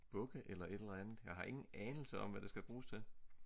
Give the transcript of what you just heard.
Bukke eller et eller andet jeg har ingen anelse om hvad det skal bruges til